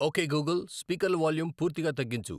okay Google స్పీకర్ల volume పూర్తిగా తగ్గించు